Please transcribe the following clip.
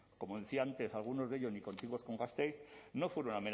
como decía antes algunos de ellos ni contiguos con gasteiz no fueron